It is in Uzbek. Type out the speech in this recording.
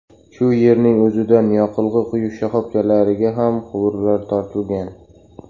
Shu yerning o‘zidan yoqilg‘i quyish shoxobchalariga ham quvurlar tortilgan.